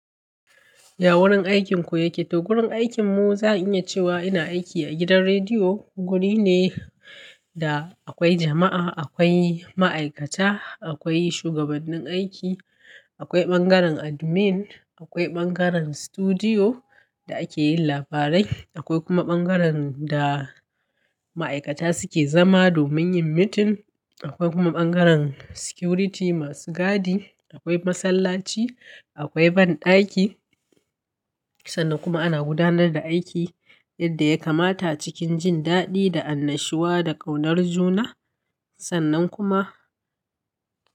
Ya wurin aikinku yake? To, gurin aikinmu za'a iya cewa ina aiki a gidan rediyo. Guri ne da akwai jama'a, akwai ma'aikata, akwai shugabannin aiki, akwai bangaren admin, akwai bangaren sutudiyo da ake yin labarai, akwai kuma bangaren da ma'aikata suke zama domin yin mitin, akwai kuma bangaren security masu gadi, akwai masallaci, akwai banɗaki. Sannan kuma ana gudanar da aiki yadda ya kamata cikin jin daɗi da annashuwa da ƙaunar juna. Sannan kuma.